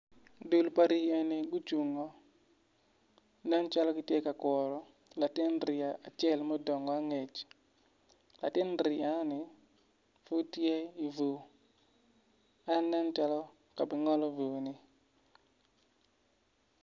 Dul pa rii eni gucungo nen calo gitye ka kuru lati rii acel mudongo latin rii enoni pud tye i bur en nen calo ka bungolo bur ni